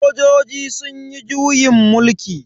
Sojojin sunyi juyin mulki.